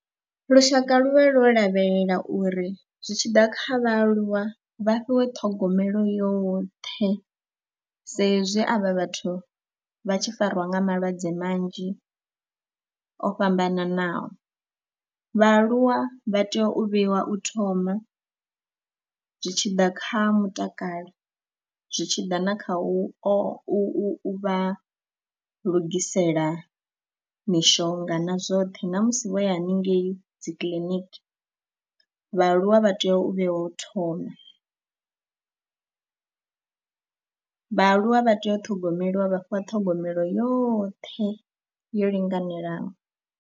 Lushaka lu vha lwo lavhelela uri zwi tshi ḓa kha vhaaluwa vha fhiwe ṱhogomelo yoṱhe sa ezwi avha vhathu vha tshi fariwa nga malwadze manzhi o fhambananaho. Vhaaluwa vha tea u vheiwa u thoma zwi tshi ḓa kha mutakalo, zwi tshi ḓa na kha u vha lugisela mishonga na zwoṱhe na musi vho ya hanengei dzi kiḽiniki vhaaluwa vha tea u vhe wo thoma, vhaaluwa vha tea u ṱhogomeliwa vha fhiwa ṱhogomelo yoṱhe yo linganelaho.